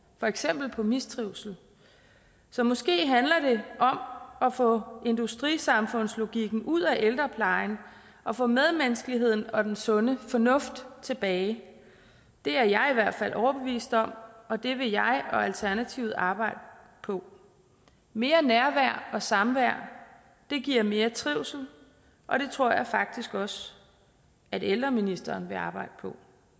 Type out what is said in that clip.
for eksempel mistrivsel så måske handler det om at få industrisamfundslogikken ud af ældreplejen og få medmenneskeligheden og den sunde fornuft tilbage det er jeg i hvert fald overbevist om og det vil jeg og alternativet arbejde på mere nærvær og samvær giver mere trivsel og det tror jeg faktisk også at ældreministeren vil arbejde på